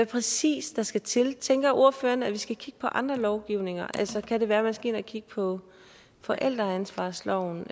præcis der skal til tænker ordføreren at vi skal kigge på andre lovgivninger altså kan det være man skal ind og kigge på forældreansvarsloven